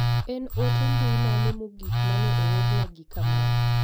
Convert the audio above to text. En ote mbui mane mogik mane oorna gi Kamau.